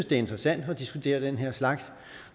det er interessant at diskutere den her slags